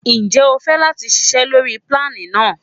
Ǹjẹ́ o fẹ́ láti ṣiṣé lórí plane náà?